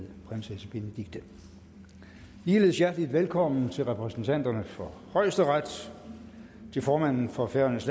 prinsesse benedikte ligeledes hjertelig velkommen til repræsentanterne for højesteret til formanden for færøernes